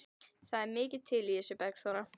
Það er mikið til í þessu, Bergþóra.